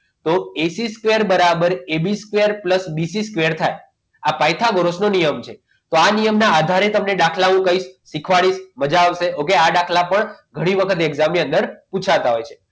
તો ac square બરાબર ab square pulse bc square થાય આ પાયથાગોરસનો નિયમ છે તો આ નિયમના આધારે તમને દાખલાઓ કંઈક શીખવાડીશ મજા આવશે ઓકે આ દાખલા ઉપર ઘણી વખત example ની અંદર પૂછાતા હોય છે